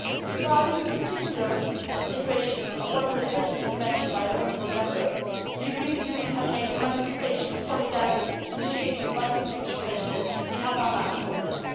Regarding the particular situation of one of the prisoners mentioned by the honourable Member, the European Union has made a manifestation of solidarity initiated by the Swedish Presidency in Havana in August.